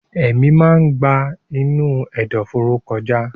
Èémí máa ń gba inú ẹ̀dọ̀fóró kọjá.